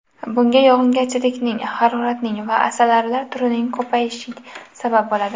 Bunga yog‘ingarchilikning, haroratning va asalarilar turining ko‘payishi sabab bo‘ladi.